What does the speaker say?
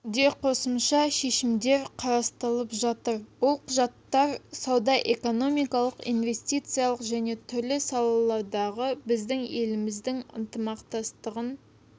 де қосымша шешімдер қарастырылып жатыр ол құжаттар сауда-экономикалық инвестициялық және түрлі салалардағы біздің елдеріміздің ынтымақтастығын